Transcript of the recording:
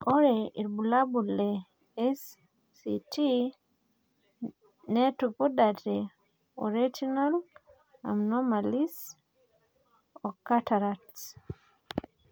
ore eirbulabol le SCT netupudate o retinal anomalies o cataracts.